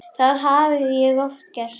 Það hafði ég oft gert.